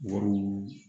Wariw